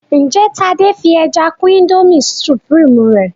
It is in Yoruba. njé Tade fí ẹja kún Indomie supreme rẹ?